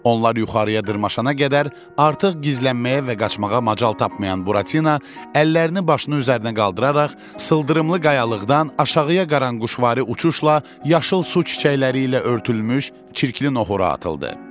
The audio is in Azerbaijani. Onlar yuxarıya dırmaşana qədər artıq gizlənməyə və qaçmağa macal tapmayan Buratino, əllərini başına üzərinə qaldıraraq sıldırımlı qayalığdan aşağıya qaranquşvari uçuşla yaşıl su çiçəkləri ilə örtülmüş çirkli nohura atıldı.